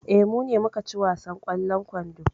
Eh, mu ne muka ci wasan ƙwallon kwando.